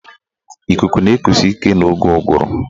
Ikuku na-ekusi ike n'oge ụgụrụ.